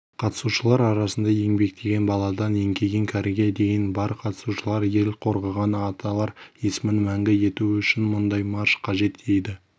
қатысушылар арасында еңбектеген баладан еңкейген кәріге дейін бар қатысушылар ел қорғаған аталар есімін мәңгі ету үшін мұндай марш қажет дейді